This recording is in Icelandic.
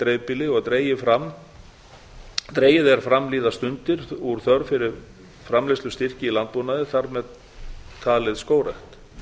dreifbýli og dregið er fram líða stundir úr þörf fyrir framleiðslustyrkjum í landbúnaði þar með talin í skógrækt